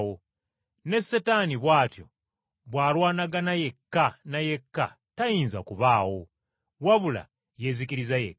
Ne Setaani bw’atyo bw’alwanagana yekka na yekka tayinza kubaawo. Wabula yeezikiriza yekka.